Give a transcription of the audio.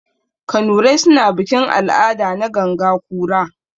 Kanurai suna bikin-al'ada na ganga kura.